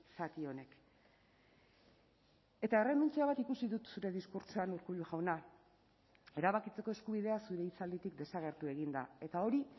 zati honek eta errenuntzia bat ikusi dut zure diskurtsoan urkullu jauna erabakitzeko eskubidea zure hitzalditik desagertu egin da eta hori